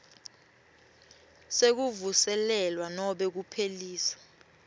sekuvuselelwa nobe kuphelisa